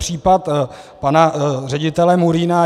Případ pana ředitele Murína.